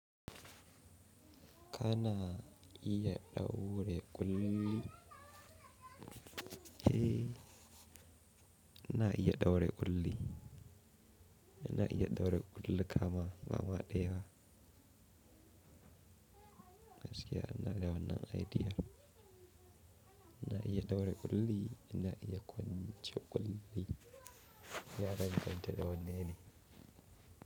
Kana iya ɗaure ƙulli? Eh, ina iya ɗaure ƙulli. Ina iya ɗaure ƙulluka ma, bama ɗaya. Gaski ina da wannan idea. Ina iya ɗaure ƙulli, ina iya kwance ƙulli. Ya danganta da wannan ne.